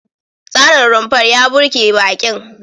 Tsarin rumfar ya burge baƙin.